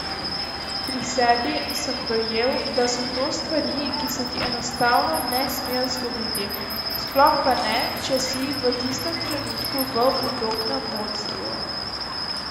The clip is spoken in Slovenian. Pri sebi sem dojel, da so to stvari, ki se ti enostavno ne smejo zgoditi, sploh pa ne, če si v tistem trenutku v udobnem vodstvu.